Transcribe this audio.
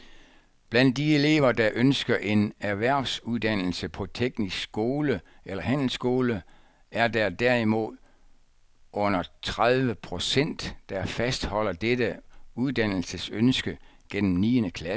Blandt de elever, der ønsker en erhvervsuddannelse på teknisk skole eller handelsskole, er der derimod under tredive procent, der fastholder dette uddannelsesønske gennem niende klasse.